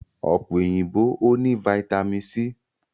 Ọ̀pẹ òyìnbó o ní vitami c.